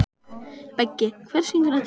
Beggi, hver syngur þetta lag?